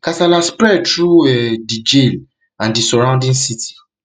kasala spread through um di di jail and di surrounding city